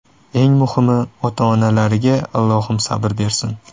Eng muhimi, ota-onalariga Allohim sabr bersin”.